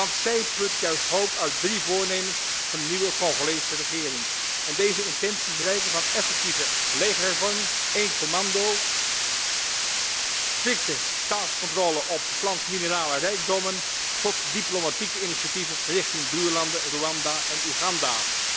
Want zij put juist hoop uit drie voornemens van de nieuwe Congolese regering en deze intenties reiken van effectieve legerhervorming, één commando, strikte staatscontrole op 's lands minerale rijkdommen tot diplomatieke initiatieven richting buurlanden Rwanda en Uganda.